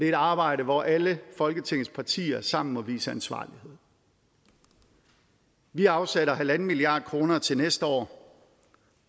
et arbejde hvor alle folketingets partier sammen må vise ansvarlighed vi afsætter en en halv milliard kroner til næste år